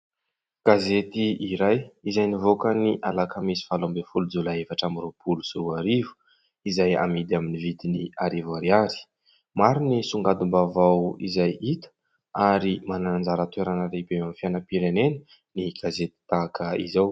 Gazety iray izay nivoaka ny alakamisy valo ambiny folo jolay efatra ambiroapolo sy roa arivo izay amidy amin'ny vidiny arivo ariary. Maro ny songadim-baovao izay hita ary manana anjara toerana lehibe eo amin'ny fiainam-pirenena ny gazety tahaka izao.